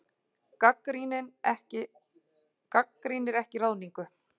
Gagnrýnir ekki ráðningu